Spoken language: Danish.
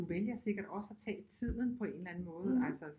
Du vælger sikkert også at tage tiden på en eller anden måde altså